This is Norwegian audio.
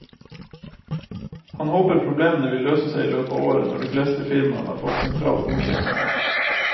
Han håper problemene vil løse seg i løpet av året, når de fleste firmaene har fått sentral godkjenning.